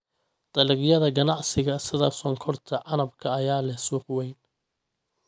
Dalagyada ganacsiga sida sonkorta canabka ayaa leh suuq weyn.